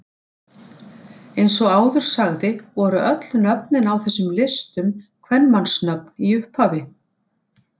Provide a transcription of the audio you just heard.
Eins og áður sagði voru öll nöfnin á þessum listum kvenmannsnöfn í upphafi.